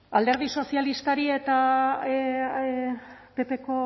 alderdi sozialistari eta ppko